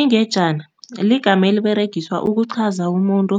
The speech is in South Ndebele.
Ingejana ligama eliberegiswa ukuqhaza umuntu